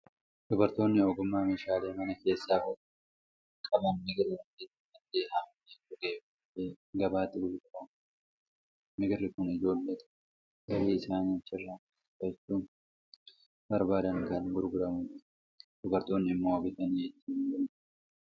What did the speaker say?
Dubartoonni ogummaa meeshaalee mana keessaa hodhuu qban migira bakkeetti margee haamamee gogee dhufee gabaatti gurguramu bituu barbaadu. Migirri kun ijoollota galii isaanii achirra maddisiifachuu barbaadaniin kan gurguramudha. Dubartoonni immoo bitanii ittiin gundoo hodhu.